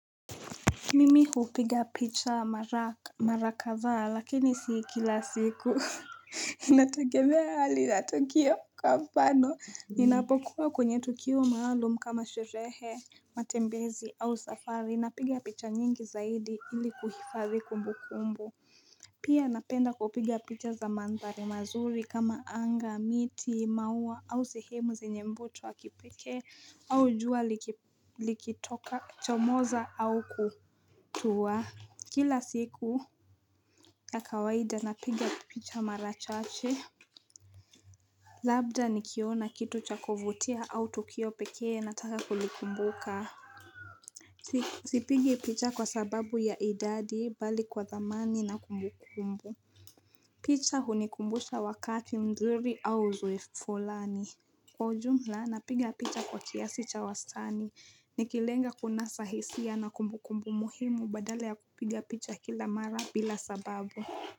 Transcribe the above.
Mimi hupiga picha mara kadhaa lakini si kila siku nategemea hali natukio kwa mfano Ninapokuwa kwenye tukio maalum kama sherehe matembezi au safari napiga picha nyingi zaidi ili kuhifadhi kumbu kumbu Pia napenda kupiga picha za mandhari mazuri kama anga, miti, maua au sehemu zenye mvuto wa kipeke au jua likitoka cha moza au kutuwa Kila siku ya kawaida napiga picha mara chache Labda nikiona kitu cha kuvutia au tukio pekee na taka kulikumbuka Sipigi picha kwa sababu ya idadi bali kwa dhamani na kumbukumbu pita huni kumbusha wakati mzuri au uzoefu fulani Kwa jumla napiga pita kwa kiasi cha wastani Nikilenga kunasa hisia na kumbukumbu muhimu badala ya kupiga pita kila mara bila sababu.